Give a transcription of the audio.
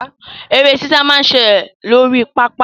Eré sísá máa ń ṣẹlẹ̀ lórí pápá.